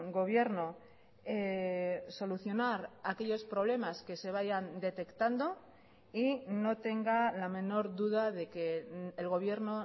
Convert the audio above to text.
gobierno solucionar aquellos problemas que se vayan detectando y no tenga la menor duda de que el gobierno